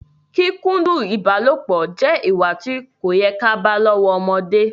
Kíkúndu ìbálopọ̀ jẹ ìwà tí kò yẹ ká bá lọ́wọ́ ọmọdé